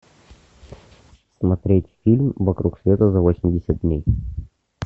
смотреть фильм вокруг света за восемьдесят дней